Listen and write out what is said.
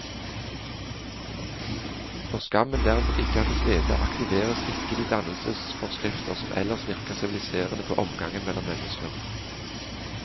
Når skammen derimot ikke er til stede, aktiveres ikke de dannelsesforskrifter som ellers virker siviliserende på omgangen mellom mennesker.